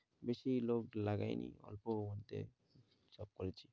বেশি লোক লাগাইনি অল্পর মধ্যে সব করেছি।